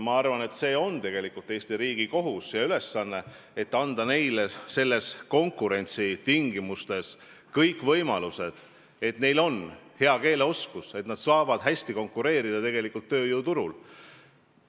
Ma arvan, et see on Eesti riigi kohus ja ülesanne anda neile kõik võimalused nendes konkurentsitingimustes, et neil oleks hea keeleoskus ja nad saaksid tööjõuturul hästi konkureerida.